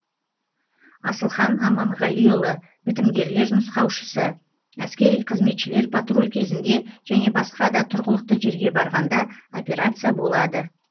асылхан аманғалиұлы бітімгерлер нұсқаушысы әскери қызметшілер патруль кезінде және басқа да тұрғылықты жерге барғанда операция болады